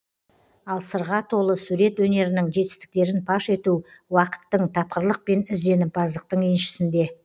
ал сырға толы сурет өнерінің жетістіктерін паш ету уақыттың тапқырлық пен ізденімпаздықтың еншісінде